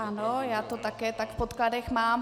Ano, já to také tak v podkladech mám.